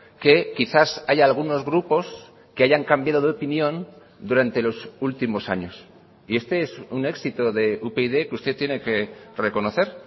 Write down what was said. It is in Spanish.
que quizás haya algunos grupos que hayan cambiado de opinión durante los últimos años y este es un éxito de upyd que usted tiene que reconocer